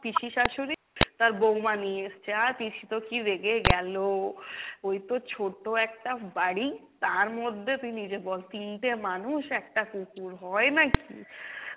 পিসি শাশুড়ি তার বৌমা নিয়ে এসছে, আর পিসি তো কী রেগে গেলো, এই তো ছোট একটা বাড়ি তার মধ্যে তুই নিজে বল তিনটে মানুষ একটা কুকুর হয় নাকি?